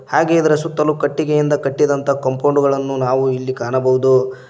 ಹಾಗೆ ಇದರ ಸುತ್ತಲೂ ಕಟ್ಟಿಗೆಯಿಂದ ಕಟ್ಟಿದಂತ ಕಂಪೌಂಡೂಗಳನ್ನು ನಾವು ಇಲ್ಲಿ ಕಾಣಬೋದು.